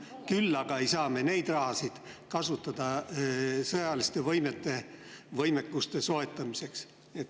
Küll aga ei saa me seda raha kasutada sõjaliste võimete soetamiseks.